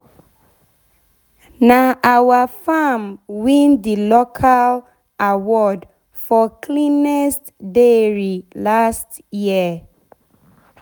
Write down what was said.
na our farm win d local award for cleanest dairy last year.